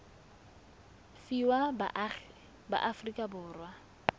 fiwa baagi ba aforika borwa